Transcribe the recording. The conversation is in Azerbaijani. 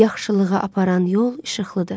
Yaxşılığa aparan yol işıqlıdır.